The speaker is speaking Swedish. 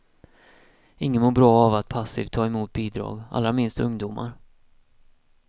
Ingen mår bra av att passivt ta emot bidrag, allra minst ungdomar.